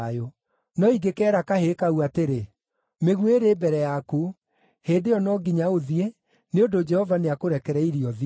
No ingĩkeera kahĩĩ kau atĩrĩ, ‘Mĩguĩ ĩrĩ mbere yaku,’ hĩndĩ ĩyo no nginya ũthiĩ, nĩ ũndũ Jehova nĩakũrekereirie ũthiĩ.